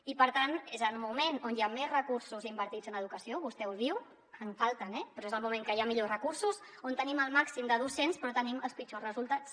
i per tant és el moment on hi ha més recursos invertits en educació vostè ho diu en falten eh però és el moment en què hi ha millors recursos on tenim el màxim de docents però tenim els pitjors resultats